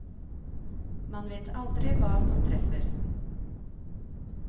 Man vet aldri hva som treffer.